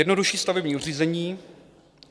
Jednodušší stavební řízení.